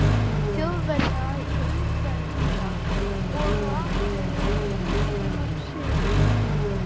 Þjóðverja í umdæmum þeirra, og á Akureyri heimsótti hann Sigurð